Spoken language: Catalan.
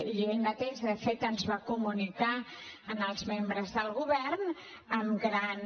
i ell mateix de fet ens ho va comunicar als membres del govern amb gran